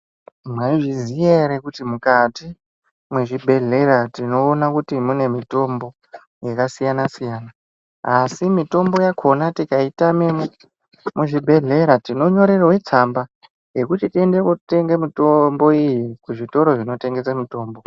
Mwaizviziya ere kuti mukati mwezvibhehlera tinoona kuti mune mitombo yakasiyana-siyana. Asi mitombo yakona tikaitame muzvibhedhlera tinonyorerwe tsamba yekuti tiende kuotenge mitombo iyi kuzvitoro zvinotengese mitombo.